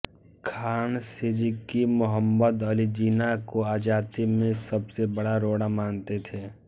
खान सिद्दिकी मोहम्मद अली जिन्ना को आजादी में सबसे बड़ा रोड़ा मानते थे